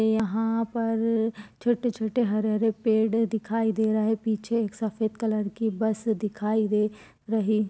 यहाँ पर छोटे-छोटे हरे-हरे पेड़ दिखाई दे रहे है पीछे एक सफ़ेद कलर की बस दिखाई दे रही--